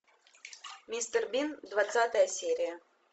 мистер бин двадцатая серия